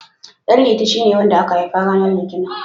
Ɗanliti shine wanda aka haifa ranar Litinin.